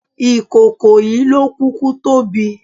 Ìkòkò yìí ló kúkú tóbi.